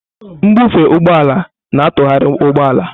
Mbufe ụgbọ ala na-atụgharị ụgbọ ala.